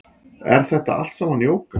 Er þetta allt saman jóga